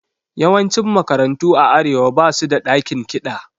Yawancin makarantu a Arewa ba su da ɗakin kiɗa.